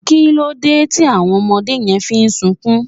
kilode ti àwọn ọmọdé yen fi n sunkún